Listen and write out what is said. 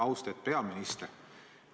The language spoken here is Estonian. Austet peaminister!